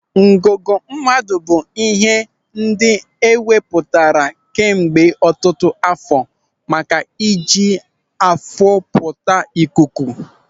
Ńgụ̀gụ̀ mmadụ bụ ịhe ndị e wepụtara kemgbe ọtụtụ àfọ́ maka iji afụpụta ikuku.